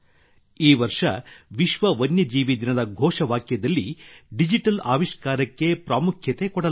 ಈ ವರ್ಷ ವಿಶ್ವ ವನ್ಯ ಜೀವಿ ದಿನದ ಘೋಷವಾಕ್ಯದಲ್ಲಿ ಡಿಜಿಟಲ್ ಆವಿಷ್ಕಾರಕ್ಕೆ ಪ್ರಾಮುಖ್ಯತೆ ನೀಡಲಾಗಿದೆ